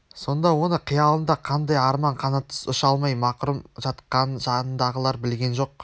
сонда оның қиялында қандай арман қанатсыз ұша алмай мақрұм жатқанын жанындағылар білген жоқ